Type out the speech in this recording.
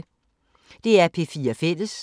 DR P4 Fælles